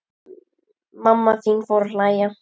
Mamma þín fór að hlæja.